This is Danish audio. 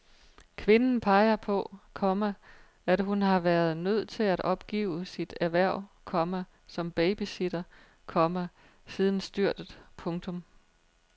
Kvinden peger på, komma at hun har været nødt til at opgive sit erhverv, komma som babysitter, komma siden styrtet. punktum